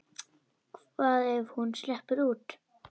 Hvað ef hún sleppur út?